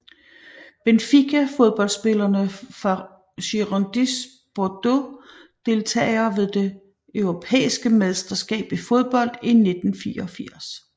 Benfica Fodboldspillere fra Girondins Bordeaux Deltagere ved det europæiske mesterskab i fodbold 1984